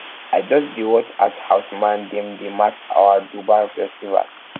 i just dey i just dey watch as horsemen dem dey match for dubar festival